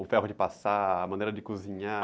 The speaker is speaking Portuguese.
O ferro de passar, a maneira de cozinhar.